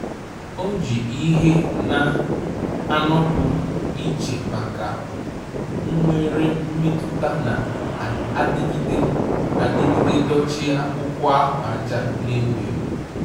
Ọ́ jì ìhè nà-ànọ́pụ́ ìchè nke nwere mmètụ́ta nà-adịgide adịgide dochie ákwụ́kwọ́ áhụ́àjà nà-èwú éwú.